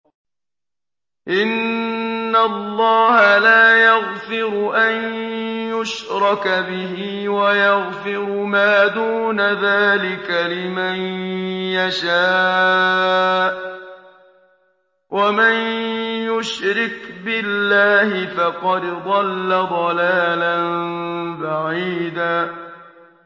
إِنَّ اللَّهَ لَا يَغْفِرُ أَن يُشْرَكَ بِهِ وَيَغْفِرُ مَا دُونَ ذَٰلِكَ لِمَن يَشَاءُ ۚ وَمَن يُشْرِكْ بِاللَّهِ فَقَدْ ضَلَّ ضَلَالًا بَعِيدًا